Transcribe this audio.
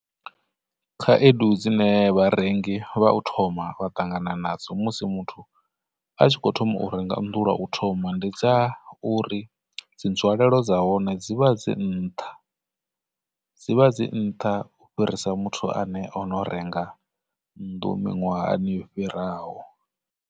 Khaedu dzine vharengi vha u thoma vha ṱangana nadzo musi muthu a tshi khou thoma u renga nnḓu lwa u thoma ndi dza uri, dzi nzwalelo dza hone dzivha dzi nṱha, dzivha dzi nṱha u fhirisa muthu ane o no renga nnḓu miṅwahani yo fhiraho.